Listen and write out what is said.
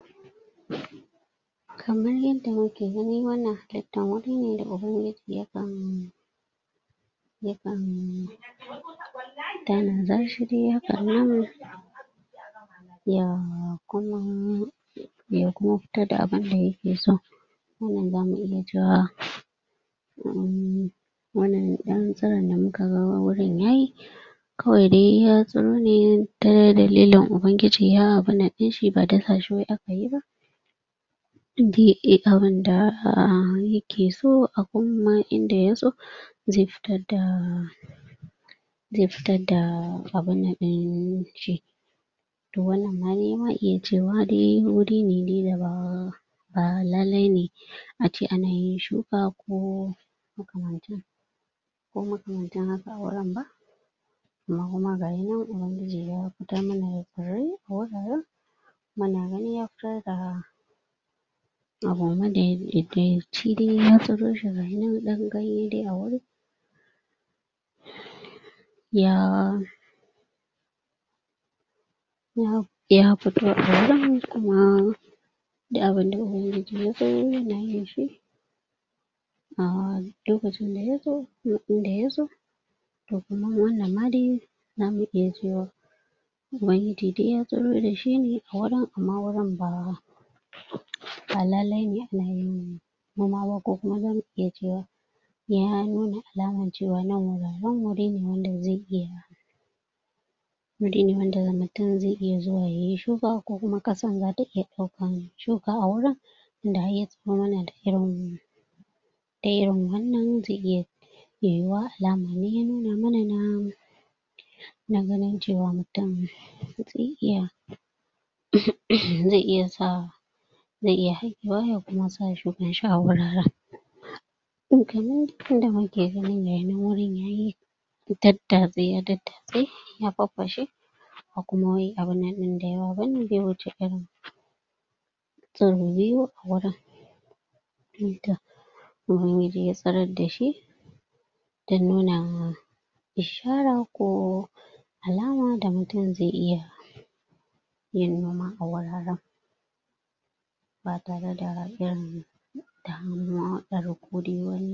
kamar yadda muke gani wannan halittar wuri da yakan yakan tanada shi dai hakan nan ya kuma ya kuma fitar da abunda yake so wannan zamu iya cewa um wannan ɗan tsiron da muka ga wurin yayi kawai dai ya tsiro ne ta dalilin ubangiji ya abunnan ɗinshi ba dasa shi wai aka yi ba yanda ake abunda yake so kuma a inda ya so zai fitar da zai fitar da abunnan ɗinshi to wannan ma dai za a iya cewa dai wuri ne dai da ba ba lallai ne ace ana yin shuka ko makamancin ko makamancin haka a wurin ba amma kuma gayinan ubangiji ya fitar mana da tsirrai a wuraren muna gani ya fitar da abu madaidaici dai ya tsiro shi gayinnan ɗan ganye dai a wurin ya ya fito a wurin kuma duk abunda ubangiji ya so yana yin shi um lokacin da ya so a inda yaso to kuma wannan ma dai zamu iya cewa ubangiji dai ya tsiro da shi a wurin amma wurin ba ba lallai ne ana yin noma ba ko kuma zamu iya cewa ya nuna alaman cewa nan ba wuri ne wanda ba zai iya wuri ne wanda mutum zai iya zuwa yayi shuka ko kuma ƙasa zai iya ɗaukan shuka a wurin tunda har ya tsiro mana da irin da irin wannan zai iya yiwuwa alama ne ya nuna mana na na ganin cewa mutum zai iya zai iya sa zai iya haƙewa ya kuma sa shukan shi a wurin kaman yadda muke gani gayinan wurin yayi daddatse ya daddatse ya farfashe ba kuma wai abunnan ɗin dayawa bane bai wuce irin tsiro biyu a wurin ubangiji ya tsirar da shi don nuna ishara ko alama da mutum zai iya yin noma wuraren ba tare da irin damuwa ɗar ko dai wani